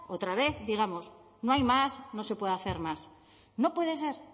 otra vez digamos no hay más no se puede hacer más no puede ser